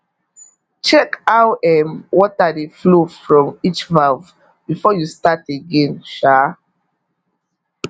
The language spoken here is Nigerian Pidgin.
check how um water dey flow from each valve before you start again um